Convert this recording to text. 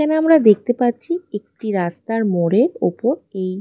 এখানে অমরা দেখতে পাচ্ছি একটি রাস্তার মোড়ের ওপর কি--